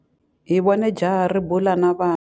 Hi vone jaha ri bula na vana.